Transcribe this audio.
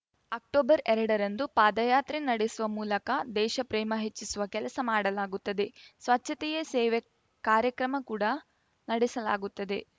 October ಎರಡರಂದು ಪಾದಯಾತ್ರೆ ನಡೆಸುವ ಮೂಲಕ ದೇಶಪ್ರೇಮ ಹೆಚ್ಚಿಸುವ ಕೆಲಸ ಮಾಡಲಾಗುತ್ತದೆ ಸ್ವಚ್ಛತೆಯೇ ಸೇವೆ ಕಾರ್ಯಕ್ರಮ ಕೂಡ ನಡೆಸಲಾಗುತ್ತದೆ